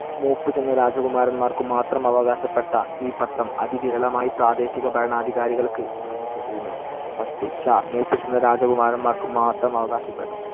മൂപ്പുചെന്ന രാജകുമാരന്മാർക്കു മാത്രം അവകാശപ്പെട്ട ഈ പട്ടം അതിവിരളമായി പ്രാദേശിക ഭരണാധികാരികൾക്ക് നൽകപ്പെട്ടിരുന്നു. പത്ത് ഷാ മൂപ്പുചെന്ന രാജകുമാരന്മാർക്കു മാത്രം അവകാശപ്പെട്ടത്.